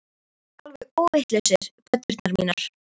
Þið eruð alveg óvitlausir, pöddurnar mínar